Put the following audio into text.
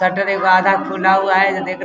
Shutter एगो आधा खुला है ।